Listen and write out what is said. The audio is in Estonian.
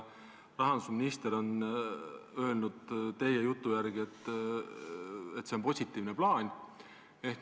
Rahandusminister on öelnud teie jutu järgi, et see on positiivne plaan.